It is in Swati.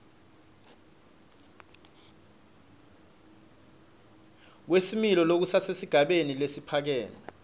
kwesimilo lokusesigabeni lesiphakeme